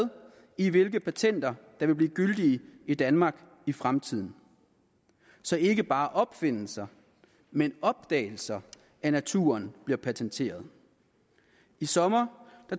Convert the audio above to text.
i hvilke patenter der vil blive gyldige i danmark i fremtiden så ikke bare opfindelser men opdagelser af naturen bliver patenteret i sommer